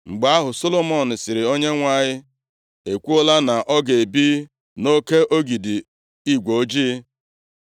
Mgbe ahụ, Solomọn sịrị, “ Onyenwe anyị ekwuola na ọ ga-ebi nʼoke igwe ojii.